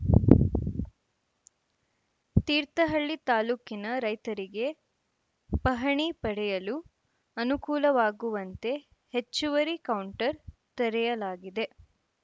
ತೀರ್ಥಹಳ್ಳಿ ತಾಲೂಕಿನ ರೈತರಿಗೆ ಪಹಣಿ ಪಡೆಯಲು ಅನುಕೂಲವಾಗುವಂತೆ ಹೆಚ್ಚುವರಿ ಕೌಂಟರ್‌ ತೆರೆಯಲಾಗಿದೆ